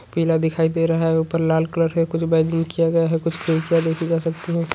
पिला दिखाई दे रहा है ऊपर लाल कलर का कुछ किया गया है देखि जा सकती हैं।